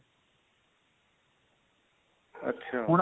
ਅੱਛਾ